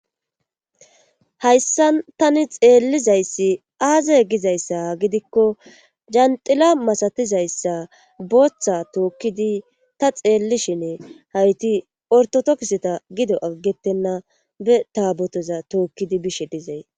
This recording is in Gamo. hayssa tani xeellizayssi aazay gizayssa gidikko janxila masatizayssa booththa tookkidi ta xeellishine hayti ortotokiseta gido aggettenna be taabotoza tookkidi bishe dizay